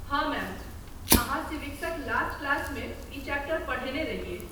हाँ मैम। अहाँ सिविक्सक लास्ट क्लासमे ई चैप्टर पढ़ेने रहियै।